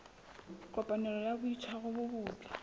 kopanelo ya boitshwaro bo botle